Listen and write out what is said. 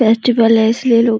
festival है इस लिए लोग --